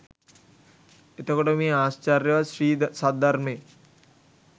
එතකොට මේ ආශ්චර්යවත් ශ්‍රී සද්ධර්මය